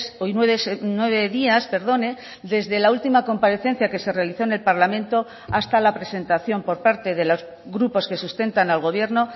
hoy nueve días perdone desde la última comparecencia que se realizó en el parlamento hasta la presentación por parte de los grupos que sustentan al gobierno